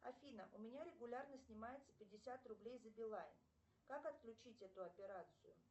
афина у меня регулярно снимается пятьдесят рублей за билайн как отключить эту операцию